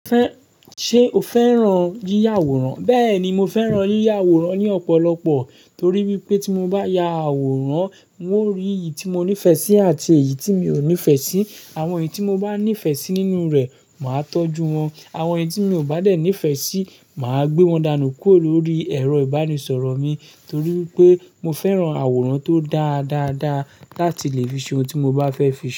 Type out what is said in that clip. Ṣé o fẹ́ran yíya àwòrán? Bẹẹni, mo fẹ́ran yíya àwòrán ní ọ̀pọ̀lọpọ̀ torí wípé tí mo bá ya àwòrán, mi ó rí iyí tí mo nífẹ̀ẹ́ sí àti èyí tí mi ò nífẹ̀ẹ́ sí. Àwọn èyí tí mo bá nífẹ̀ẹ́ sí nínú rẹ̀, màá tọ́jú wọn. Àwọn èyí tí mi ò bá dé nífẹ̀ẹ́ sí, màá gbé wọn dánù kúrò lórí ẹ̀rọ-ìbánisọ̀rọ̀ mi torí wipé mo fẹ́ran àwòrán tó dáa dáadáa láti lè fi ṣe ohun tí mo bá fẹ́ fi ṣe.